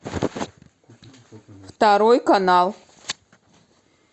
второй канал